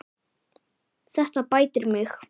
Þetta bætir mig.